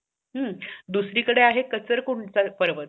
दुसरी कड आहे